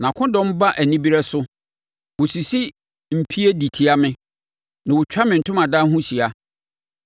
Nʼakodɔm ba anibereɛ so; wɔsisi mpie de tia me na wɔtwa me ntomadan ho hyia.